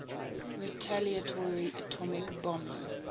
retaliatory atomic bombing